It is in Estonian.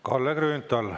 Kalle Grünthal.